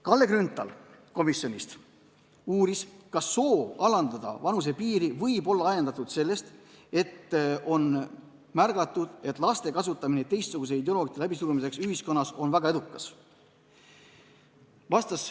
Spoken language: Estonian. Kalle Grünthal uuris, kas soov alandada vanusepiiri võib olla ajendatud sellest, et on märgatud, et laste kasutamine teistsuguste ideoloogiate läbisurumiseks ühiskonnas on väga edukas.